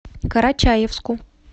карачаевску